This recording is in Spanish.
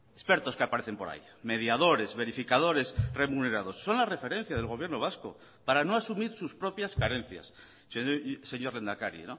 expertos que aparecen por ahí mediadores verificadores remunerados son la referencia del gobierno vasco para no asumir sus propias carencias señor lehendakari